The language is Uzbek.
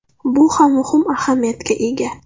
Bu ham muhim ahamiyatga ega.